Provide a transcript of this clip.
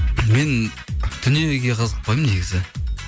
мен дүниеге қызықпаймын негізі